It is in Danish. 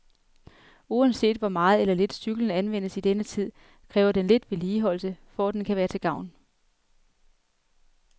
Uanset hvor meget eller lidt cyklen anvendes i denne tid, kræver den lidt vedligeholdelse, for at den kan være til gavn.